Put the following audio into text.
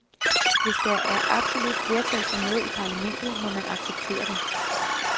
Hvis der er absolut flertal for noget i parlamentet, må man acceptere det.